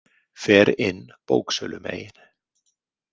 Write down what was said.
Fer inn bóksölumegin.